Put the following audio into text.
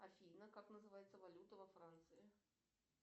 афина как называется валюта во франции